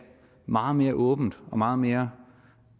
meget mere åbent og meget mere